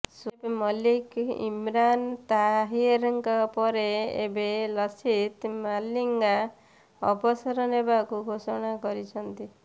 ସୋଏବ ମଲ୍ଲିକ ଇମ୍ରାନ ତାହିରଙ୍କ ପରେ ଏବେ ଲସିଥ ମାଲିଙ୍ଗା ଅବସର ନେବାକୁ ଘୋଷଣା କରିଛନ୍ତି